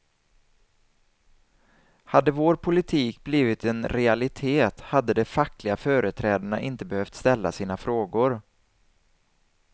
Hade vår politik blivit en realitet hade de fackliga företrädarna inte behövt ställa sina frågor.